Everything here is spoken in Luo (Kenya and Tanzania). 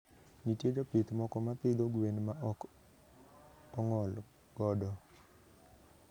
Nitie jopith moko ma pidho gwen ma ok ong`I godo.